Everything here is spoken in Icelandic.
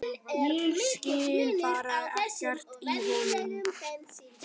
Ég skil bara ekkert í honum!